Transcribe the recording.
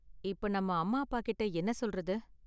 இப்ப நம்ம அம்மா அப்பாகிட்ட என்ன சொல்றது?